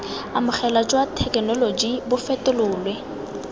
amogelwa jwa thekenoloji bo fetolelwe